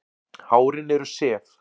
Hárin eru sef.